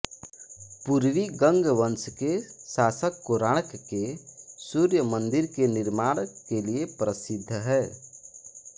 पूर्वी गंगवंश के शासक कोणार्क के सूर्य मन्दिर के निर्माण के लिये प्रसिद्ध हैं